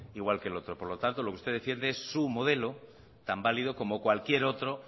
igual que el otro por lo tanto lo que usted defiende es su modelo tan válido como cualquier otro